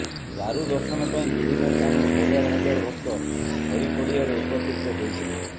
ଦାରୁ ଦର୍ଶନ ପାଇଁ ବିଭିନ୍ନ ସ୍ଥାନରୁ ହଜାର ହଜାର ଭକ୍ତ ଖରିପଡିଆରେ ଏକତ୍ରିତ ହୋଇ ଥିଲେ